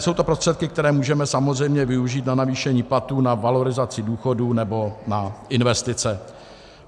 Jsou to prostředky, které můžeme samozřejmě využít na navýšení platů, na valorizaci důchodů nebo na investice.